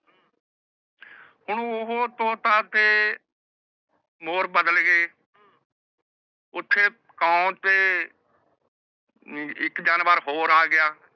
ਹੁਣ ਓਹੋ ਤੋਤਾ ਤੇ ਮੋਰ ਬਦਲ ਗਏ ਓਥੇ ਤੇ ਇਕ ਜਾਨਵਰ ਹੋ ਆ ਗਿਆ